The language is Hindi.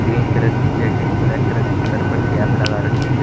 ग्रीन कलर की जैकेट ब्लैक कलर की सर पर कैप लगा रखी है।